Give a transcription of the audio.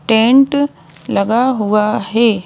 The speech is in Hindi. टेंट लगा हुआ है।